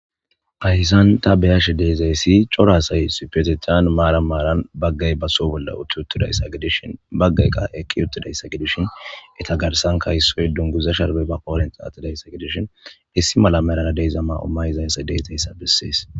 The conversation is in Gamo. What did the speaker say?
Haysan ta beyashe deezayssi cora asay issippetethan maara maaran baggay baso bolle uttuttudayadishin baggay qa eqqi uttudayssa gidishin eta garsan kayssoy dunguza sharbey ba qoorenxa attidayssa gidishin issi mala merara deyza ma7o mayizayssa de'zayssa bissees.